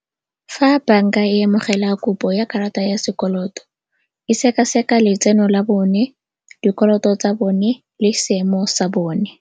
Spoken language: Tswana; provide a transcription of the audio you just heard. Fa banka e amogela kopo ya karata ya sekoloto e seka-seka letseno la bone, dikoloto tsa bone le seemo sa bone.